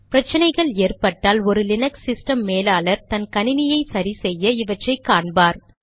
பிரச்சினைகள் ஏற்பட்டால் ஒரு லீனக்ஸ் சிஸ்டம் மேலாளர் தன் கணினியை சரி செய்ய இவற்றை காண்பார்